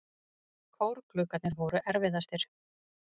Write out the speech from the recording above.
Kórgluggarnir voru erfiðastir.